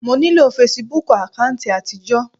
Mo nílò fesibúùkù àkáùntì àtijọ́.